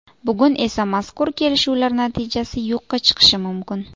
Bugun esa mazkur kelishuvlar natijasi yo‘qqa chiqishi mumkin.